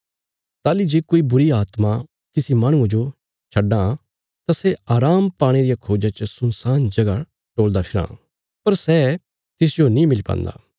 ताहली जे कोई बुरीआत्मा किसी माहणुये जो छड्डां इ तां सै आराम पाणे रिया खोज्जा च सुनसान जगह टोल़दी फिराँ इ पर सै तिसाजो नीं मिली पान्दी